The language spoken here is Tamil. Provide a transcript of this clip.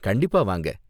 கண்டிப்பா வாங்க!